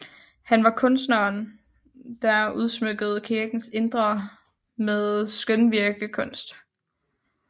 Han var kunsteren der udsmykkede kirkens indre med skønvirkekunst